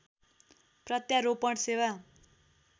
प्रत्यारोपण सेवा